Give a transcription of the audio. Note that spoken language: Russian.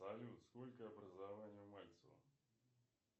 салют сколько образований у мальцева